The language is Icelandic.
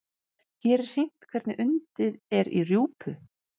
Hér er sýnt hvernig undið er í rjúpu.